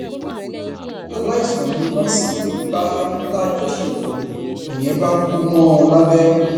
aláìsàn ni nọọsì yìí ń bá lájọṣepọ nìyẹn bá kú mọ ọn lábẹ